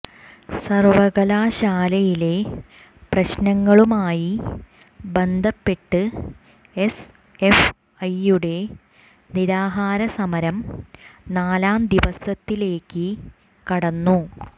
സര്വകലാശാലയിലെ പ്രശ്നങ്ങളുമായി ബന്ധപ്പെട്ട് S F ഐയുടെ നിരാഹാര സമരം നാലാം ദിവസത്തിലേക്ക് കടന്നു